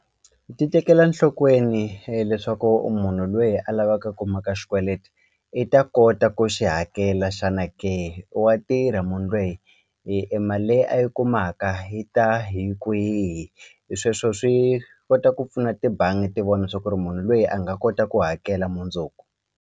Ti tekela nhlokweni leswaku u munhu lweyi a lavaka ku maka xikweleti i ta kota ku xi hakela xana ke wa tirha munhu lweyi e mali leyi a yi kumaka yi ta hi kwihi hi sweswo swi kota ku pfuna tibangi ti vona swa ku ri munhu loyi a nga kota ku hakela mundzuku.